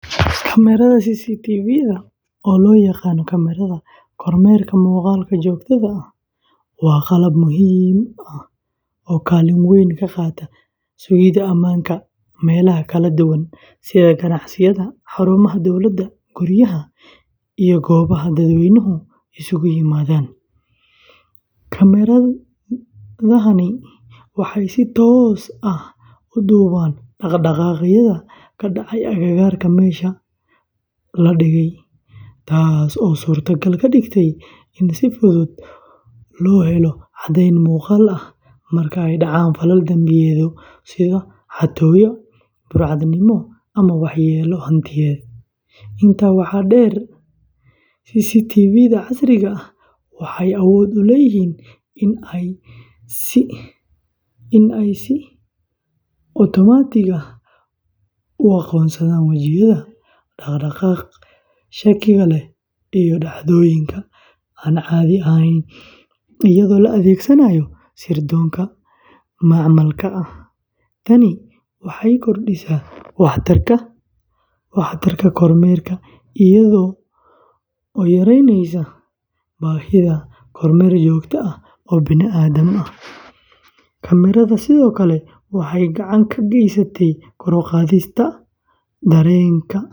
Kamaradaha Cctvda, oo loo yaqaan kamaradaha kormeerka muuqaalka joogtada ah, waa qalab muhiim ah oo kaalin weyn ka qaata sugidda ammaanka meelaha kala duwan sida ganacsiyada, xarumaha dowladda, guryaha, iyo goobaha dadweynuhu isugu yimaadaan. Kamaradahani waxay si toos ah u duubaan dhaqdhaqaaqyada ka dhacaya agagaarka meesha la dhigay, taasoo suurtogal ka dhigaysa in si fudud loo helo caddayn muuqaal ah marka ay dhacaan falal dambiyeedyo sida xatooyo, burcadnimo, ama waxyeello hantiyadeed. Intaa waxaa dheer, CCTV-da casriga ah waxay awood u leeyihiin inay si otomaatig ah u aqoonsadaan wajiyada, dhaqdhaqaaqa shakiga leh, iyo dhacdooyinka aan caadiga ahayn, iyadoo la adeegsanayo sirdoonka macmalka ah. Tani waxay kordhisaa waxtarka kormeerka iyada oo yareyneysa baahida kormeer joogto ah oo bini’aadan ah. Kamaradaha sidoo kale waxay gacan ka geystaan kor u qaadista dareenka ammaanka.